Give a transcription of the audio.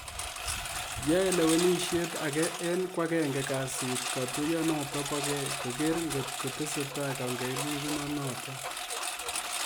Yae lewenisiet agee eng kwakenge kasiit katuyot notok bo kei koker ngotkotesetai kangelelchinoo notok